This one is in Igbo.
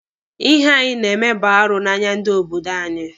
Ihe a ị na-eme bụ arụ n'anya ndị obodo anyị.